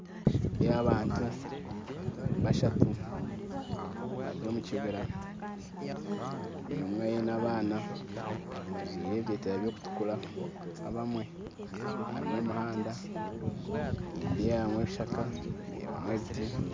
Nindeeba abantu bashatu bari omu kibiira buri omwe aine abaana bajwire ebiteteeya by'okutuukura abamwe harimu omuhanda nindeebamu ebishaaka ndeebamu ebiti